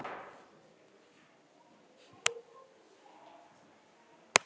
Stelpur eru víst á hjólabrettum.